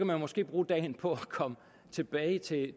man måske bruge dagen på at komme tilbage til